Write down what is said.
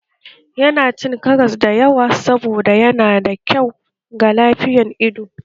Yana cin karas da yawa saboda yana da kyau ga lafiyan ido